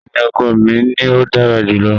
Bẹẹni, ọkọ mi ni o dara julọ.